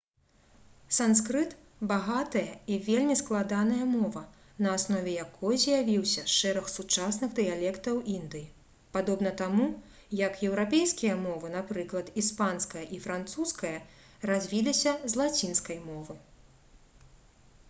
санскрыт багатая і вельмі складаная мова на аснове якой з'явіўся шэраг сучасных дыялектаў індыі падобна таму як еўрапейскія мовы напрыклад іспанская і французская развіліся з лацінскай мовы